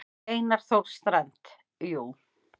Einar Þór Strand: Jú.